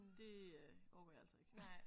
Det øh orker jeg altså ikke